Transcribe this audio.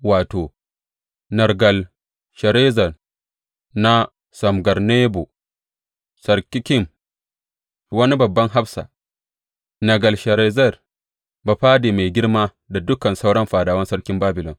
Wato, Nergal Sharezer na Samgar Nebo, Sarsekim wani babban hafsa, Nergal Sharezer bafade mai girma da dukan sauran fadawan sarkin Babilon.